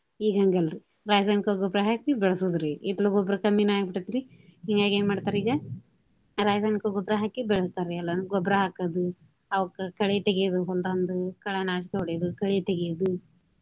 ಈಗ ಹಂಗ ಅಲ್ರಿ. ರಾಸಾಯನಿಕ ಗೊಬ್ರಾ ಹಾಕಿ ಬೆಳಸೋದ್ರಿ. ಹಿತ್ತಲ ಗೊಬ್ರಾ ಕಮ್ಮಿನ ಆಗಿ ಬಿಟ್ಟೆತಿ. ಹಿಂಗಾಗಿ ಏನ ಮಾಡ್ತಾರಿ ಈಗ ರಾಸಾಯನಿಕ ಗೊಬ್ರಾ ಹಾಕಿ ಬೆಳಸ್ತಾರಿ ಎಲ್ಲಾನು. ಗೊಬ್ರಾ ಹಾಕೋದು ಅವಕ್ಕ ಕಳೆ ತೆಗಿಯೋದು ಹೊಲ್ದಾಂದು ಕಳೆನಾಶಕ ಹೊಡಿಯೋದು ಕಳೆ ತೆಗಿಯೋದು.